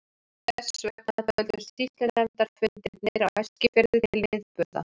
Þess vegna töldust sýslunefndarfundirnir á Eskifirði til viðburða.